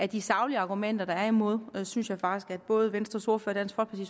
de saglige argumenter der er imod dette synes jeg faktisk at både venstres ordfører